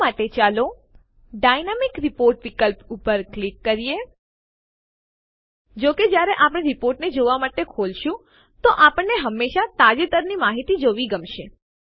આ માટે ચાલો ડાયનેમિક રિપોર્ટ વિકલ્પ ઉપર ક્લિક કરીએ જો કે જયારે આપણે રીપોર્ટને જોવાં માટે ખોલીશું તો આપણને હંમેશા તાજેતરની માહિતી જોવી ગમશે